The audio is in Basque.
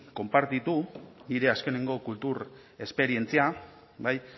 konpartitu nire azkenengo kultur esperientzia bai